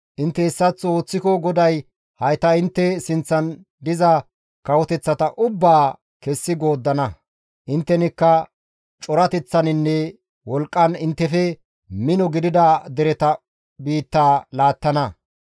Intte hessaththo ooththiko GODAY hayta intte sinththan diza kawoteththata ubbaa kessi gooddana; inttenikka corateththaninne wolqqan inttefe mino gidida dereta biittaa laattana.